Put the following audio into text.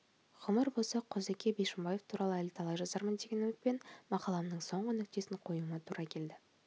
ғұмыр болса құзыке бишімбаев туралы әлі талай жазармын деген үмітпен мақаламның соңғы нүктесін қоюыма тура келді